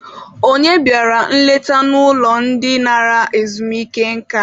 Onye bịara nleta n'ụlọ ndị nara ezumike nka?